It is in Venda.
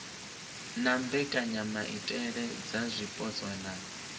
na mbekanyamaitele dza zwipotso na